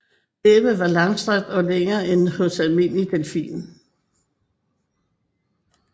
Næbbet er langstrakt og længere end hos almindelig delfin